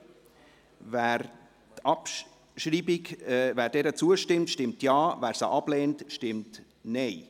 Wer der Abschreibung zustimmt, stimmt Ja, wer diese ablehnt, stimmt Nein.